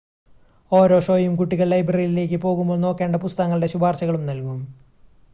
ഓരോ ഷോയും കുട്ടികൾ ലൈബ്രറിയിലേക്ക് പോകുമ്പോൾ നോക്കേണ്ട പുസ്തകങ്ങളുടെ ശുപാർശകളും നൽകും